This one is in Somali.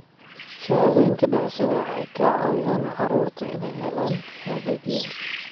Shahaadooyinka dhalashada waxay ka caawiyaan carruurta inay helaan adeegyo.